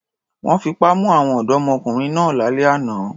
Wọ́n fipá mú àwọn ọ̀dọ́mọkùnrin náà lálẹ́ àná.